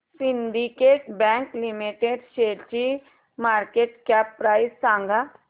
Syndicate Bank Limited शेअरची market cap price सांगा